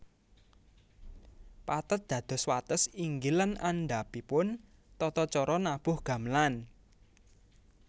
Pathet dados wates inggil lan andhapipun tata caca nabuh gamelan